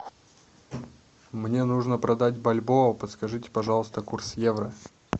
мне нужно продать бальбоа подскажите пожалуйста курс евро